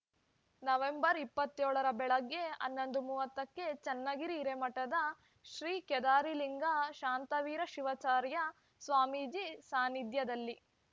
November ಇಪ್ಪತ್ತ್ ಏಳು ರ ಬೆಳಿಗ್ಗೆ ಹನ್ನೊಂದು ಮೂವತ್ತಕ್ಕೆ ಚನ್ನಗಿರಿ ಹಿರೇಮಠದ ಶ್ರೀ ಕೇದಾರಲಿಂಗ ಶಾಂತವೀರ ಶಿವಾಚಾರ್ಯ ಸ್ವಾಮೀಜಿ ಸಾನಿಧ್ಯದಲ್ಲಿ